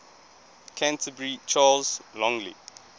canterbury charles longley